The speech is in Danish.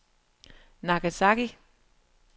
Nagasaki